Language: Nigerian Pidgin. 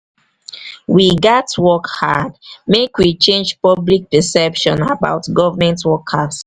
we gats work hard make we change public perception about government workers.